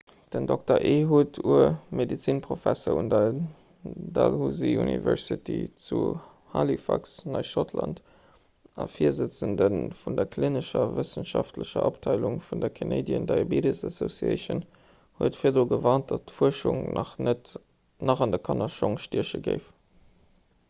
den dr. ehud ur medezinprofesser un der dalhousie university zu halifax neischottland a virsëtzende vun der klinescher a wëssenschaftlecher abteilung vun der canadian diabetes association huet virdru gewarnt datt d'fuerschung nach an de kannerschong stieche géif